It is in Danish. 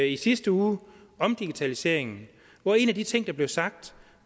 i sidste uge om digitaliseringen og en af de ting der blev sagt